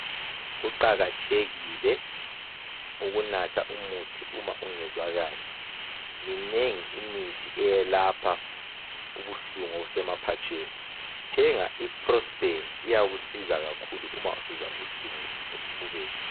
Kuqakathekile ukunatha umuthi uma ungezwa kahle. Minengi imithi eyelapha ubuhlungu obusemaphatsheni, thenga i (prospan) iyakusiza kakhulu uma usizwa ubuhlungu esifubeni.